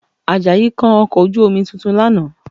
Àjàyí kan ọkọ̀ ojú-omi tuntun lánàá